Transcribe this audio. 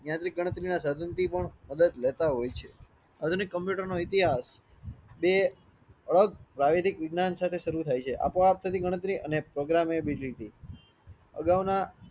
ગણતરીના સાધનથી પણ મદાંધ લેતા હોય છે આધુનિક કમ્પ્યુટર નો ઇતિહાસ તે અલગ વૈધિક વિજ્ઞાન સાથે શરૂ થાય છે. આપો આપ થતી ગણતરી અને program ability અગાઉના